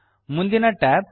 ಮುಂದಿನ tab